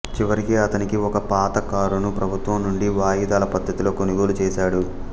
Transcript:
చివరికి అతనికి ఒక పాత కారును ప్రభుత్వం నుండి వాయిదాల పద్ధతితో కొనుగోలు చేసాడు